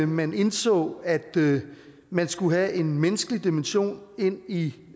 man indså at man skulle have en menneskelig dimension ind i